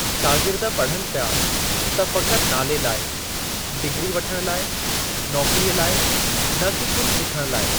शागिर्द पढ़नि प्या त फ़क़ति नाले लाइ, डिग्री वठणु लाइ, नौकरीअ लाइ, न कि कुझु सिखण लाइ।